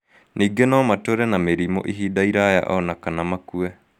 Ningĩ no matũũre na mĩrimũ ihinda iraya o na kana makue.